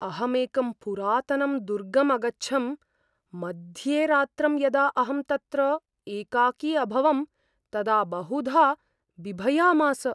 अहमेकं पुरातनं दुर्गम् अगच्छम्, मध्येरात्रं यदा अहं तत्र एकाकी अभवम् तदा बहुधा बिभयामास।